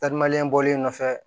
Tari bɔlen nɔfɛ